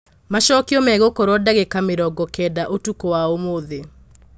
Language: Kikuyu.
Macokio megũkorwo ndagika mĩrongo kenda ũtukũ wa ũmũthĩ.